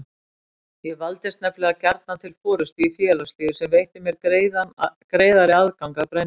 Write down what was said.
Ég valdist nefnilega gjarnan til forystu í félagslífi sem veitti mér greiðari aðgang að brennivíni.